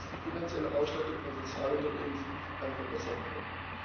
Unter EaSI ist die finanzielle Ausstattung von Sozialunternehmen signifikant verbessert worden.